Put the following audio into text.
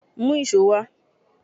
Mú íṣo wá!